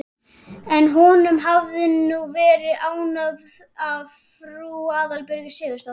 En honum hafði hún verið ánöfnuð af frú Aðalbjörgu Sigurðardóttur.